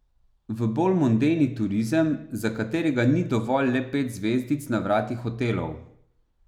V bolj mondeni turizem, za katerega ni dovolj le pet zvezdic na vratih hotelov.